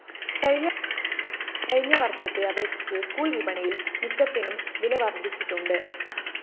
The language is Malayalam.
കഴിഞ്ഞ വര്‍ഷത്തെ അപേക്ഷിച്ച് സ്കൂൾ വിപണിയില്‍ മിക്കതിനും വില വര്‍ധിച്ചിട്ടുണ്ട്